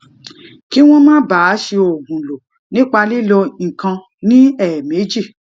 kí wón má bàa si oogun lo nipa lilo ikan ni eemeji